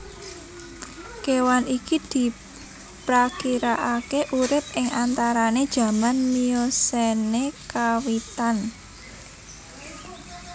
Kewan iki diprakirakake urip ing antarane jaman Miocene kawitan